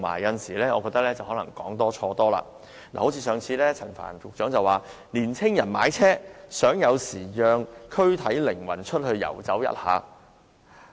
有時候，他更是說多錯多，例如他早前表示，年青人買車是想有時讓軀體靈魂出去遊走一下。